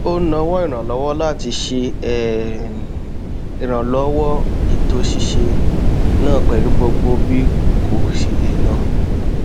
ó nawọ ìrànwọ láti ṣe um ìrànlọwọ ètò ṣíṣe náà pẹlú gbogbo bí kò ṣe lè lọ